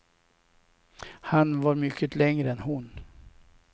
Han var mycket längre än hon.